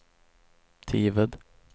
Tived